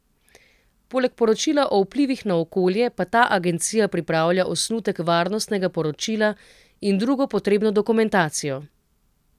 Poleg poročila o vplivih na okolje pa ta agencija pripravlja osnutek varnostnega poročila in drugo potrebno dokumentacijo.